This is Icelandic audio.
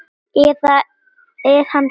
eða er hann hættur?